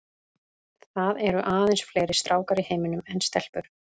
Það eru aðeins fleiri stákar í heiminum en stelpur.